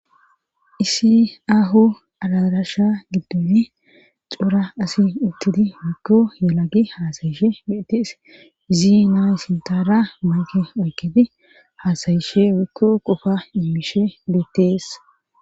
isi aho adarasha giddoni cora asi uttidi woykko yelagi haasayishe geettes izinaa sintaara mayke oyketi haasayishe woyko qofa immishe betes